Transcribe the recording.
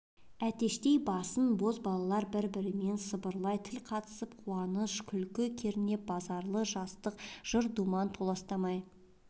әтештей басын бозбалалар бір-бірімен самбырлай тіл қатысып қуаныш күлкі кернеп базарлы жастықтың жыр-думаны толастамай